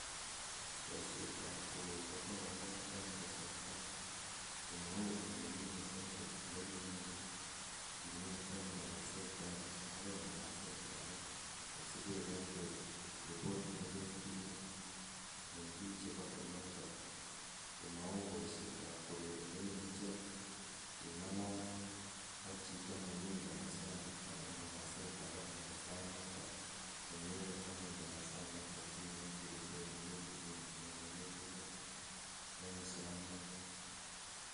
Boishetab koroi kokowalak en kasarta komou olikinye elee kinyolu ing'et en ing'anaset akeng'e akoi ing'anaset akee asibeikoite ripot neketinye en biik chebo oloton ko mouu boishetab koroi neimuche ing'alal ak chito nemi ing'anasani ak ing'anaset akee en sainoton komewe akoi ing'anasa noton simwochi ripot neketinye en sainoton.